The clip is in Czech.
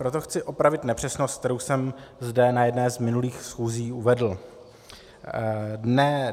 Proto chci opravit nepřesnost, kterou jsem zde na jedné z minulých schůzí uvedl.